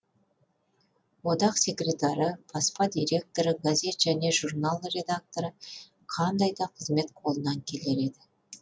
одақ секретары баспа директоры газет немесе журнал редакторы қандай да қызмет қолынан келер еді